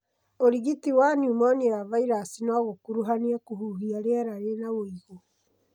ũrigiti wa pneumonia ya virasi no gũkuruhanie kũhuhia rĩera rĩna wĩigũ.